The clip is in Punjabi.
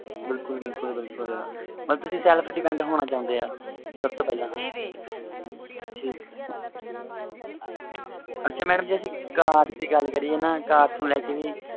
ਬਿਲਕੁਲ ਬਿਲਕੁਲ ਮਤਬਲ self depend ਹੋਣਾ ਚਾਹੁੰਦੇ ਹੋ ਸਬ ਤੋਂ ਪਹਿਲਾ ਠੀਕ ਐਸਾ madam ਜੇ ਅਸੀਂ car ਦੀ ਗੱਲ ਕਰੀਏ ਨਾ car ਨੂੰ ਲੈ ਕੇ